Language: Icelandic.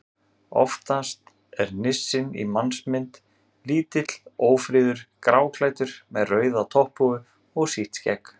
Oftast er nissinn í mannsmynd: Lítill, ófríður, gráklæddur með rauða topphúfu og sítt skegg.